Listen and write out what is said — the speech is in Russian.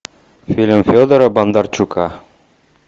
фильм федора бондарчука